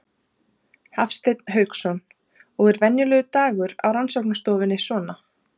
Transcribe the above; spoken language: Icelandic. Hafsteinn Hauksson: Og er venjulegur dagur á rannsóknarstofunni svona?